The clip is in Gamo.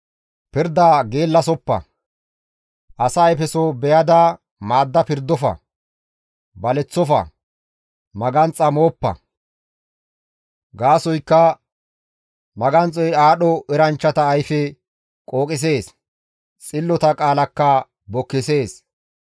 Pirda geellasoppa; asa ayfeso beyada maadda pirdofa; baleththofa; maganxo mooppa; gaasoykka maganxoy aadho eranchchata ayfe qooqisees; xillota qaalakka bokkisees.